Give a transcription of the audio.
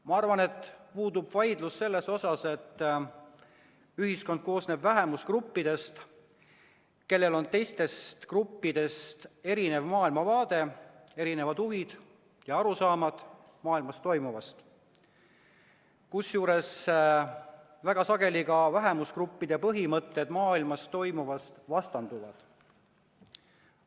Ma arvan, et puudub vaidlus selle üle, et ühiskond koosneb vähemusgruppidest, kellel on teiste gruppidega võrreldes erinev maailmavaade, erinevad huvid ja arusaamad maailmas toimuvast, kusjuures väga sageli ka vähemusgruppide põhimõtted maailmas toimuva kohta vastanduvad.